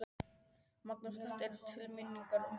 Magnús: Þetta er til minningar um þinn mann?